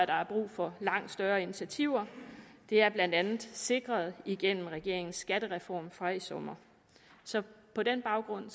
der er brug for langt større initiativer det er blandt andet sikret gennem regeringens skattereform fra i sommer på den baggrund